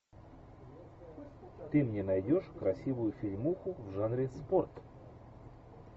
ты мне найдешь красивую фильмуху в жанре спорт